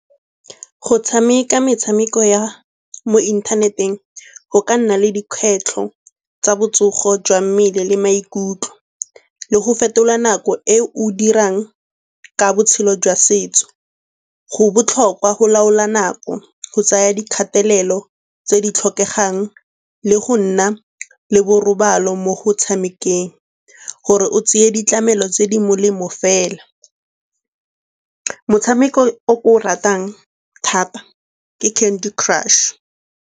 Go tshameka metshameko ya mo inthaneteng go ka nna le dikgwetlho tsa botsogo jwa mmele le maikutlo le go fetola nako e o dirang ka botshelo jwa setso. Go botlhokwa go laola nako, go tsaya dikgatelelo tse di tlhokegang le go nna le borobalo mo go tshamekeng gore o tseye ditlamelo tse di molemo fela. Motshameko o ke o ratang thata ke Candy Crush.